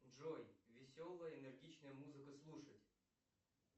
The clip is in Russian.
джой веселая энергичная музыка слушать